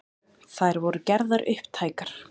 Þær voru gerðar upptækar